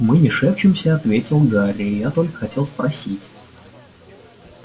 мы не шепчемся ответил гарри я только хотел спросить